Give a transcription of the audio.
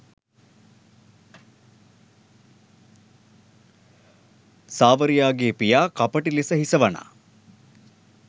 සාවරියාගේ පියා කපටි ලෙස හිස වනා